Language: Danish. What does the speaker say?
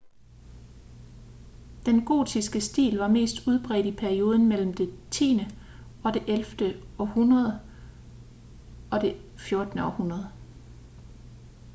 den gotiske stil var mest udbredt i perioden mellem det 10.-11. århundrede og det 14. århundrede